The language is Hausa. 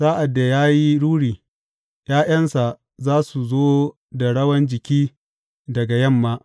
Sa’ad da ya yi ruri, ’ya’yansa za su zo da rawan jiki daga yamma.